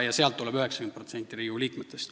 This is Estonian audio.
Sealt tuleb 90% Riigikogu liikmetest.